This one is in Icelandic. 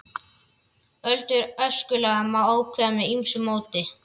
Aldur öskulaga má ákveða með ýmsu móti.